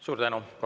Suur tänu!